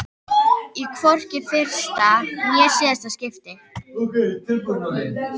Og hvorki í fyrsta né síðasta skipti.